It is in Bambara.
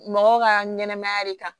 Mɔgɔw ka ɲɛnɛmaya de kan